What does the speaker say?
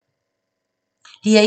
DR1